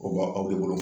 O ba aw de bolo